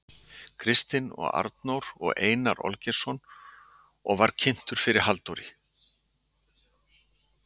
Kristinn og Arnór og Einar Olgeirsson og var kynntur fyrir Halldóri